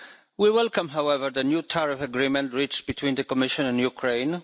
We welcome, however, the new tariff agreement reached between the Commission and Ukraine.